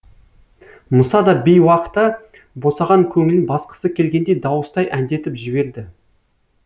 мұса да бейуақта босаған көңілін басқысы келгендей дауыстай әндетіп жіберді